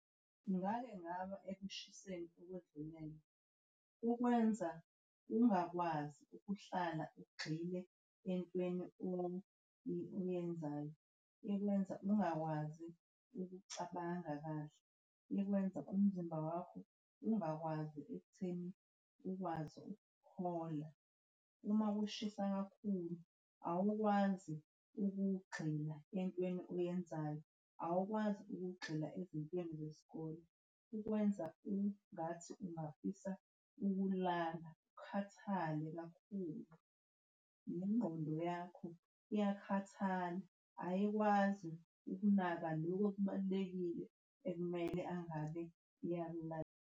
Ngake ngaba ekushiseni okwedlulele. Kukwenza ungakwazi ukuhlala ugxile entweni oyenzayo, ikwenza ungakwazi ukucabanga kahle, ikwenza umzimba wakho ungakwazi ekutheni ukwazi ukuphola. Uma kushisa kakhulu awukwazi ukugxila entweni oyenzayo, awukwazi ukugxila ezintweni zesikole. Kukwenza ungathi ungafisa ukulala ukhathale kakhulu, nengqondo yakho iyakhathala, ayikwazi ukunaka lokho okubalulekile ekumele angabe iyakunaka.